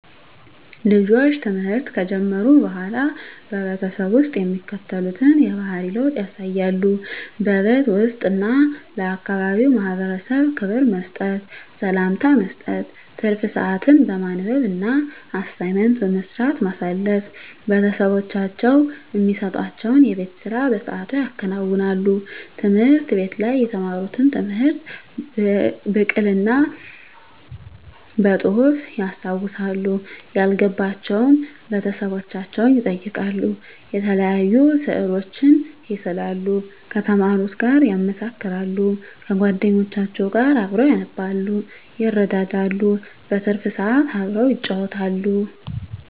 ልጆች ትምህርት ከጀመሩ በሆላ በቤተሰብ ውስጥ የሚከተሉትን የባህሪ ለውጥ ያሳያሉ:-በቤት ውስጥ እና ለአካባቢው ማህበረሰብ ክብር መስጠት፤ ሰላምታ መስጠት፤ ትርፍ ስአትን በማንበብ እና አሳይመንት በመስራት ማሳለፍ፤ ቤተሰቦቻቸው እሚሰጡዋቸውን የቤት ስራ በስአቱ ያከናውናሉ፤ ትምህርት ቤት ላይ የተማሩትን ትምህርት ብቅል እና በጹህፍ ያስታውሳሉ፤ ያልገባቸውን ቤተሰቦቻቸውን ይጠይቃሉ፤ የተለያዩ ስእሎችን ይስላሉ ከተማሩት ጋር ያመሳክራሉ፤ ከጎደኞቻቸው ጋር አብረው ያነባሉ ይረዳዳሉ። በትርፍ ስአት አብረው ይጫወታሉ።